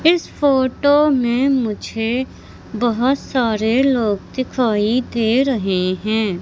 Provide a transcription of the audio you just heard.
इस फोटो में मुझे बहोत सारे लोग दिखाई दे रहे हैं।